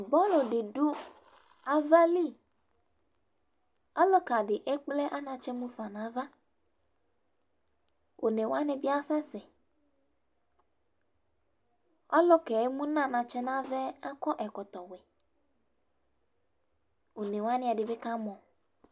Bɔlʋ dɩ dʋ ava liƆlʋka dɩ ekple anatsɛ mufanava, one wanɩ bɩ asɛsɛƆlʋkɛ emu nʋ anatsɛ nava yɛ akɔ ɛkɔtɔ wɛOne wanɩ, ɛdɩnɩ kamɔ